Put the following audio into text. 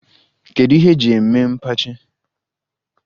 Kedu ihe eji eme mkpachi?